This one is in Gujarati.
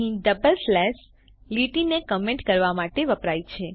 અહીં ડબલ સ્લેશ લીટીને કમેન્ટ કરવા માટે વપરાય છે